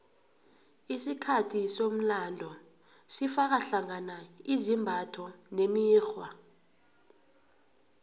isikhathi somlando sifaka hlangana izimbatho nemikghwa